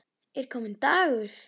Er kominn dagur?